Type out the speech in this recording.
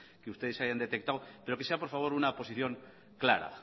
que ustedes hayan detectado pero que sea por favor una posición clara